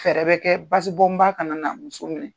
Fɛɛrɛ bɛ kɛ basibɔn ba ka na na muso minɛ.